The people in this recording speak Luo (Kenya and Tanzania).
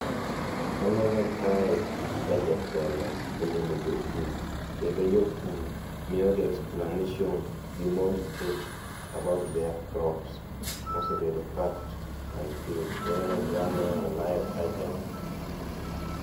Aneno kaye, ka jatelo olimo jopur kendo jopur miyogi explanation gi more details about their crops mosebedo packed and sealed. Aneno oganda, aneno olayo kacha